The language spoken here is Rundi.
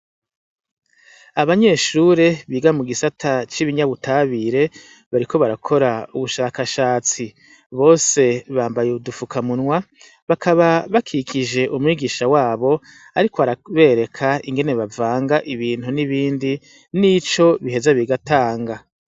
Abanyeshure biga mu gisata c'ibinyabutabire bariko barakora ubushakashatsi bose bambaye uwudufukamunwa bakaba bakikije umwigisha wabo, ariko arabereka ingene bavanga ibintu n'ibindi n'ico biheza bigatanga.